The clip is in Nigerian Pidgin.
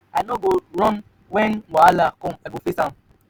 i no go run wen wahala com i go face am.